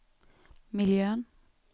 miljön